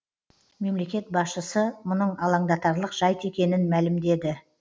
мемлекет басшысы мұның алаңдатарлық жайт екенін мәлімдеді